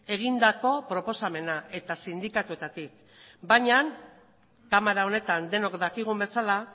egindako proposamena eta sindikatuetatik baina kamara honetan denok dakigun bezala